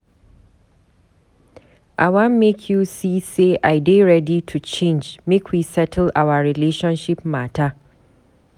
I wan make you see sey I dey ready to change make we settle our relationship mata.